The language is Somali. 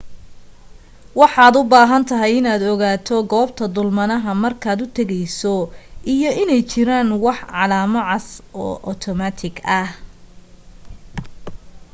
waxaad u baahan tahay inaad ogaato goobta dulmanaha markaad u tegayso iyo inay jiraan wax calamo cas oo otomaatig ah